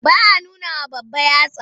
Ba a nunawa babba yatsa.